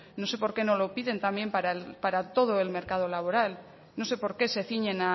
no sé por qué no lo piden para todo el mercado laboral no sé por qué se ciñen